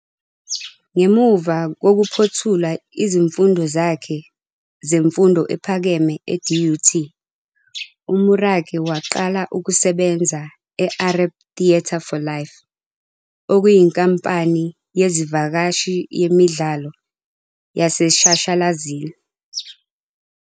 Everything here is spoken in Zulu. Ngemuva kokuphothula izifundo zakhe zemfundo ephakeme eDUT, uMorake waqala ukusebenza e-Arepp Theatre for Life, okuyinkampani yezivakashi yemidlalo yaseshashalazini.